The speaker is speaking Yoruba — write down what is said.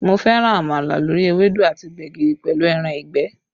Mo fẹ́ràn àmàlà lórí ewédú àti gbẹ̀gìrì pẹ̀lú ẹran ìgbẹ́